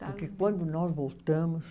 Porque quando nós voltamos...